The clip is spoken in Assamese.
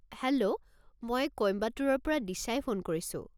হেল্ল', মই কোইম্বাটুৰৰ পৰা দিশাই ফোন কৰিছো।